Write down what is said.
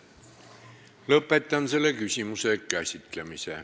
Lõpetan selle küsimuse käsitlemise.